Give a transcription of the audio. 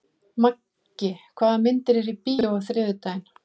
Maggi, hvaða myndir eru í bíó á þriðjudaginn?